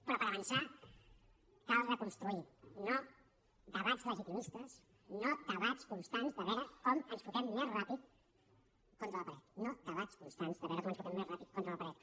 però per avançar cal reconstruir no debats legitimistes no debats constants de veure com ens fotem més ràpid contra la paret no debats constants de veure com ens fotem més ràpid contra la paret